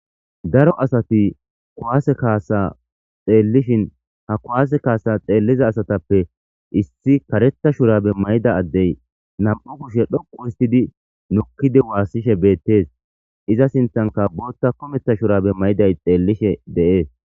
daro asati kuwaase kaasa xeellishin ha kuwaase kaasa xeelliza asatappe issi kareta shurabe mayda addey nam7u kushe dhoqu istidi nukkidi waassishe beettees iza sintanka bootta kometa shurabe mayday xeellishe de7ees